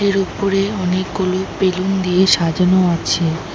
এর উপরে অনেকগুলো বেলুন দিয়ে সাজানো আছে।